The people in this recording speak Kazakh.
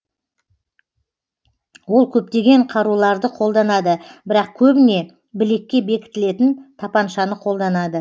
ол көптеген қаруларды қолданады бірақ көбіне білекке бекітілетін тапаншаны қолданады